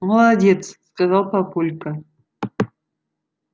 молодец сказал папулька